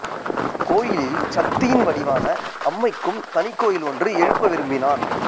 கோயிலில் சக்தியின் வடிவான அம்மைக்கும் தனிக் கோயில் ஒன்று எழுப்ப விரும்பினான்